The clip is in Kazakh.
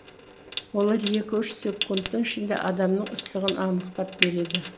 олар екі үш секундтың ішінде адамның ыстығын анықтап береді